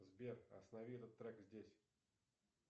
сбер останови этот трек здесь